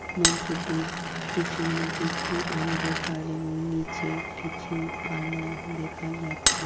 মঞ্চটি পিছনের দিকটি অন্ধকার এবং নিচের কিছু আলো দেখা যাচ্ছে।